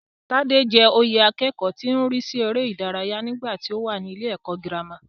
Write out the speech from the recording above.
Tádé jẹ oyè akẹ́kọ̀ọ́ tó ń rísí eré ìdárayá nígbàtí ó wà nílé ẹ̀kọ́ gírámà.